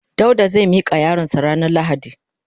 Dauda zai mika yaron sa ranan lahadi.